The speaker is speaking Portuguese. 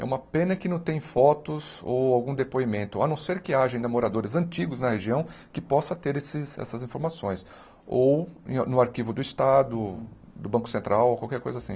É uma pena que não tem fotos ou algum depoimento, a não ser que haja ainda moradores antigos na região que possa ter esses essas informações, ou no no arquivo do Estado, do Banco Central, ou qualquer coisa assim.